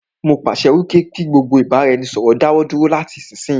Mó pàṣẹ pé kí gbogbo ìbáraẹnisọ̀rọ̀ dáwọ dúró lati isisiyi lọ.